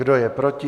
Kdo je proti?